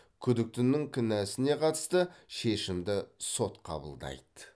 күдіктінің кінәсіне қатысты шешімді сот қабылдайды